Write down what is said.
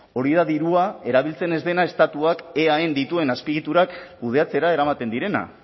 hori da dirua erabiltzen ez dena estatuak eaen dituen azpiegiturak kudeatzera eramaten direna